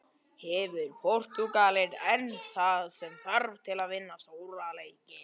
Hefur Portúgalinn enn það sem þarf til að vinna stórleiki?